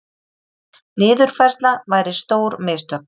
Niðurfærsla væri stór mistök